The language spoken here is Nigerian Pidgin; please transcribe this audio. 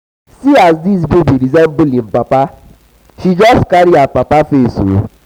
see as dis baby resemble im papa she just carry her papa face.